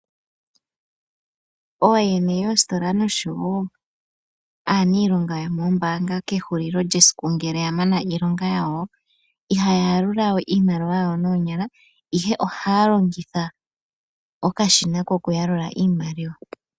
Ooyene yoositola noshowo aaniilonga yoomoombaanga kehulilo lyesiku ngele ya mana iilonga yawo, ihaya yalula we iimaliwa yawo noonyala, ihe ohaya longitha okashina kokuyalula iimaliwa.